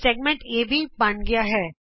ਵ੍ਰਤ ਖੰਡ ਏਬੀ ਬਣ ਗਿਆ ਹੈ